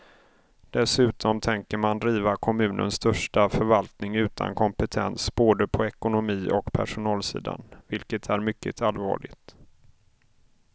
Dessutom tänker man driva kommunens största förvaltning utan kompetens både på ekonomi och personalsidan vilket är mycket allvarligt.